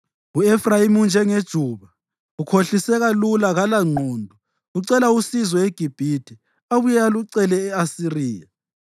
U-Efrayimi unjengejuba, ukhohliseka lula kalangqondo ucela usizo eGibhithe, abuye alucele e-Asiriya.